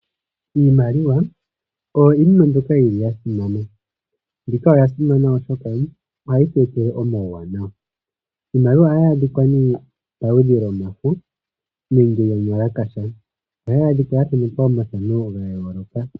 Iimaliwa oyo iinima mbyoka ya simana. Mbika oya simana, oshoka ohayi tu etele omauwanawa. Iimaliwa ohayi adhika nee paludhi lwomafo nenge yomuwalakasha. Ohayi adhika ya thanekwa omathano ga yooloka.